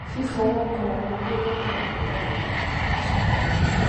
fífọwọ kan ọmọdé lọnà àìtọ wà lára àwọn ẹsùn náà